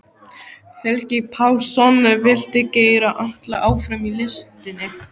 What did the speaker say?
Helgi Pálsson vildi keyra alla áfram í listinni.